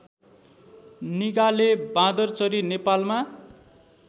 निगाले बाँदरचरी नेपालमा